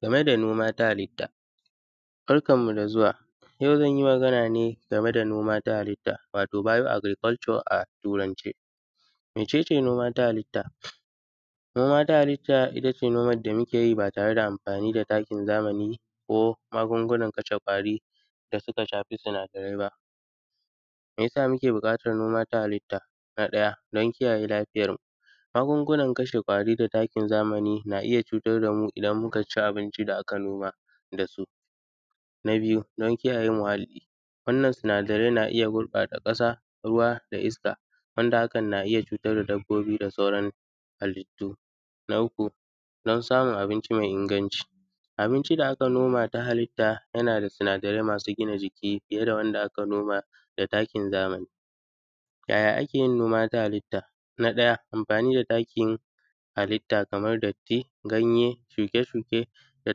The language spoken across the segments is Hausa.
Game da noma ta halitta. Barkanmu da zuwa, yau zan yi magana ne game da noma ta halitta, wato bioagriculture a Turance. Mece ce noma ta halitta, ita ce nomad da muke yi ba tare da anfani da takin zamani ko magungunan kashe ƙwari da sika shafi sinadarai ba. Me ya sa muke buƙatar noma ta halitta, na ɗaya dan kiyaye lafiyarmu, magungunan kashe ƙwari da takin zamani na iya cutar da mu idan muka ci abinci da aka noma da su, na biyu don kiyaye muhalli, wannan sinadarai na iya gurƃata ƙasa da iska wanda hakan na iya cutar da dabbobi da sauran halittu, na uku don samun abinci me inganci, abinci da aka noma ta halitta yana da sinadarai masu gina jiki fiye da wanda aka noma da takin zamani. Yaya ake yin noma ta halitta, na ɗaya anfani da takin halitta kamar datti, ganye, shuke-shuke da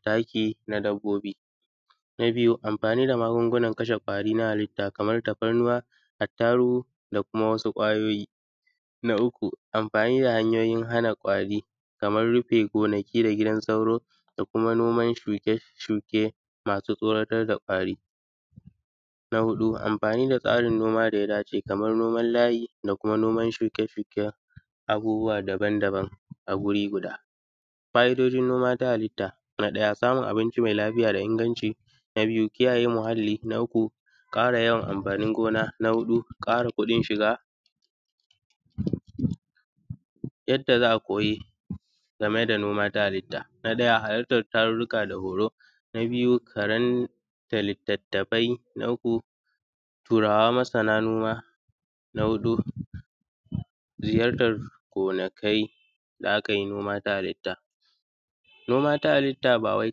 taki na dabbobi, na biyu anfani da magungunan kashe ƙwari na halitta kamar tafarnuwa, attarugu da kuma wasu ƙwayoyi, na uku amfani da hanyoyin hana ƙwari kamar rufe gonaki da gidan sauro da kuma noman shuke-shuke masu tsoratar da ƙwari, na huɗu anfani da tsarin noma da ya dace kamar noman layi da kuma noman shuke-shuken abubuwa daban-daban a guri guda. Fa’idojin noma ta halitta, na ɗaya samun abinci me lafiya da inganci, na biyu kiyaye muhalli, na uku ƙara yawan anfanin gona, na huɗu ƙara kuɗin shiga. Yadda za a koyi game da noma ta halitta, na ɗaya halartar tarurruka da horo, na biyu karanta litattafai, na uku Turawa masana, na huɗu ziyartar gonakai da a kai noma ta halitta. Noma ta halitta ba wai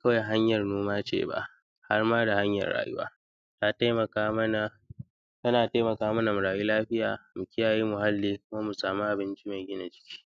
kawai hanyar noma ce ba, har ma da hanyar rayuwa ta temaka mana; tana temaka mana mu rayu lafiya mu kiyaye muhalli kuma mu samu abinci me gina jiki.